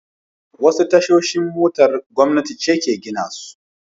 Wasu tashoshin motar gwamnati ce ke gina su.